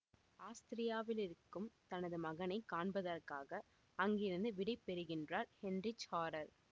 ஆஸ்திரியாவிலிருக்கும் தனது மகனை காண்பதற்காக அங்கிருந்து விடை பெறுகின்றார் ஹெயின்ரிச் ஹாரெர்